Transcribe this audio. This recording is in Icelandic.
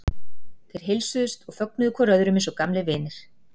Þeir heilsuðust og fögnuðu hvor öðrum eins og gamlir vinir.